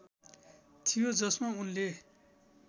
थियो जसमा उनले